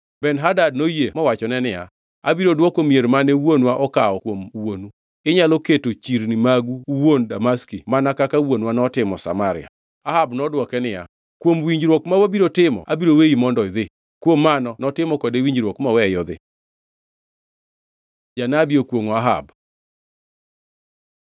Ben-Hadad noyie mowachone niya, “Abiro dwoko mier mane wuonwa okawo kuom wuonu.” Inyalo keto chirni magu uwuon Damaski mana kaka wuonwa notimo Samaria. Ahab nodwoke niya, “Kuom winjruok ma wabiro timo abiro weyi mondo idhi.” Kuom mano notimo kode winjruok moweye odhi. Janabi okwongʼo Ahab